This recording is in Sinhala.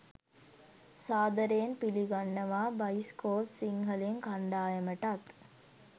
සාදරයෙන් පිළිගන්නවා බයිස්කෝප් සිංහලෙන් කණ්ඩායමටත්.